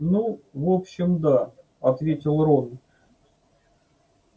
ну в общем да ответил рон